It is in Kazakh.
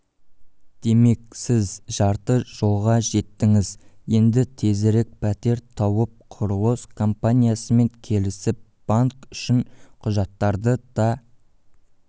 демек сіз жарты жолға жеттіңіз енді тезірек пәтер тауып құрылыс компаниясымен келісіп банк үшін құжаттарды да